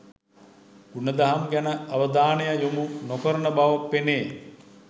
ගුණදහම් ගැන අවධානය යොමු නොකරන බව පෙනේ